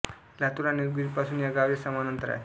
लातूर आणि उदगीर पासून या गावचे समान अंतर आहे